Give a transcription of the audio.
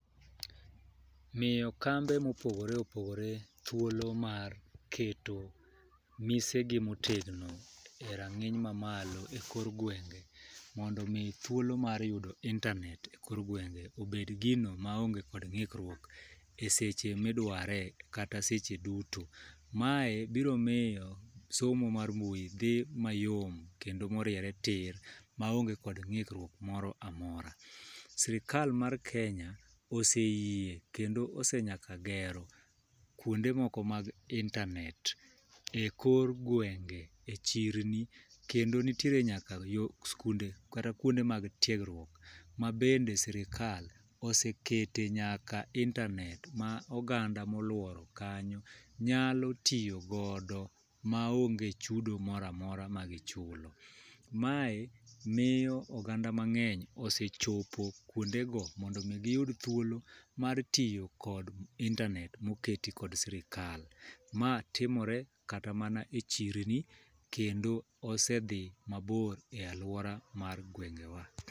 Miyo kambe mopogore opogore thuolo mar keto mise gi motegno e rang'iny mamalo e kor gwenge mondo mi thuolo mar yudo internet e kor gwenge obed gino ma onge kod ng'ikruok eseche midware, kata seche duto. Mae biro miyo somo mar mbui dhi mayom kendo moriere tir maonge kod ng'ikruok moro amora. Sirikal mar kenya oseyie kendo osenyaka gero kuonde moko mag internet e kor gwenge ,e chirni kendo nitiere nyaka yo skunde kata kuonde mag tiegruok ma bende sirikal osekete nyaka internet ma oganda moluoro kanyo nyalo tiyo godo maonge chudo moramora ma gichulo. Mae miyo oganda mang'eny osechopo kuonde go mondo mi giyud thuoko mar tiyo kod internet moketi ko sirikal. Ma timore kata e chirno kendo osedhi maber e aluora mar gwenge wa.